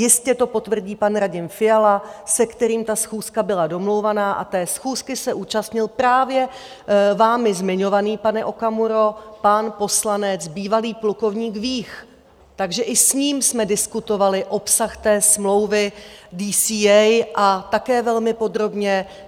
Jistě to potvrdí pan Radim Fiala, se kterým ta schůzka byla domlouvaná, a té schůzky se účastnil právě vámi zmiňovaný, pane Okamuro, pan poslanec, bývalý plukovník Vích, takže i s ním jsme diskutovali obsah té smlouvy DCA, a také velmi podrobně.